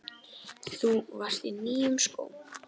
Þú varst á nýjum skóm.